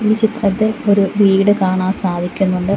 ഈ ചിത്രത്തിൽ ഒരു വീട് കാണാൻ സാധിക്കുന്നുണ്ട്.